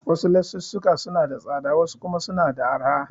Wasu lesussuka suna da tsada wasu kuma suna da arha.